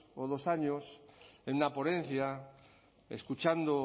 o dos años en una ponencia escuchando